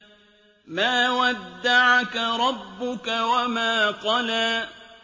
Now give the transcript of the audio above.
مَا وَدَّعَكَ رَبُّكَ وَمَا قَلَىٰ